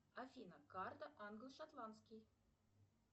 афина карта англо шотландский